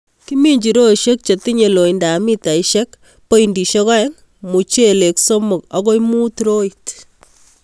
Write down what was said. Kiminjin roisiek chetinye lointab mitaisiek pointisiek oeng' mochelek somok akoi mut roit.